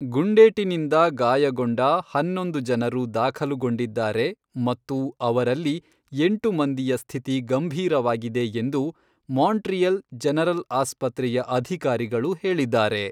ಗುಂಡೇಟಿನಿಂದ ಗಾಯಗೊಂಡ ಹನ್ನೊಂದು ಜನರು ದಾಖಲುಗೊಂಡಿದ್ದಾರೆ ಮತ್ತು ಅವರಲ್ಲಿ ಎಂಟು ಮಂದಿಯ ಸ್ಥಿತಿ ಗಂಭೀರವಾಗಿದೆ ಎಂದು ಮಾಂಟ್ರಿಯಲ್ ಜನರಲ್ ಆಸ್ಪತ್ರೆಯ ಅಧಿಕಾರಿಗಳು ಹೇಳಿದ್ದಾರೆ.